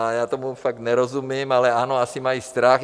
A já tomu fakt nerozumím, ale ano, asi mají strach.